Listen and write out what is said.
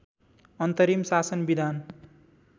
अन्तरिम शासन विधान